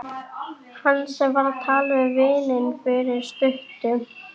Hann sem var að tala við vininn fyrir stuttu.